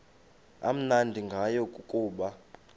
amnandi ngayo kukuba